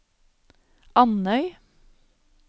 Andøy